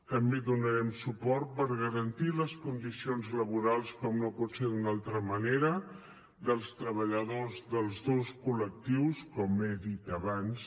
també donarem suport per garantir les condicions laborals com no pot ser d’una altra manera dels treballadors dels dos col·lectius com he dit abans